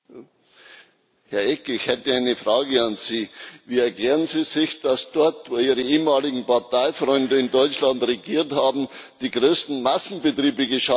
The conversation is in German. Herr Eck, ich hätte eine Frage an Sie Wie erklären Sie sich, dass dort, wo Ihre ehemaligen Parteifreunde in Deutschland regiert haben, die größten Massenbetriebe geschaffen worden sind?